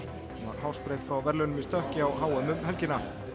hún var hársbreidd frá verðlaunum í stökki á h m um helgina